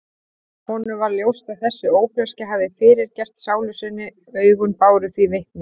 Honum varð ljóst að þessi ófreskja hafði fyrirgert sálu sinni, augun báru því vitni.